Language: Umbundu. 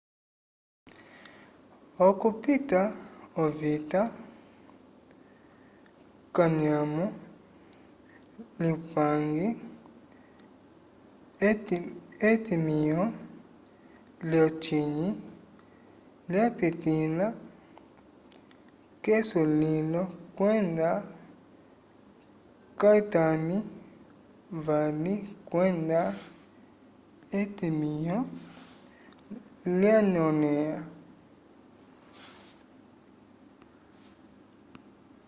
okupita ovita k'anyamo lyupange etimĩho lyocinyi lyapitĩla k'esulilo kwenda kayitami vali kwenda etimĩho lyanyõlẽha